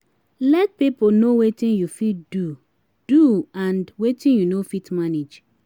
let pipo no wetin yu fit do do and wetin yu no fit manage